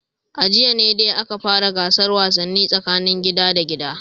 A jiya ne dai aka fara gasar wasannin tsakanin gida da gida